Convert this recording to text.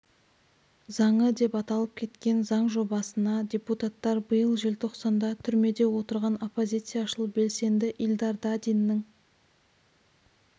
заңы деп аталып кеткен заң жобасына депутаттар биыл желтоқсанда түрмеде отырған оппозицияшыл белсенді ильдар дадиннің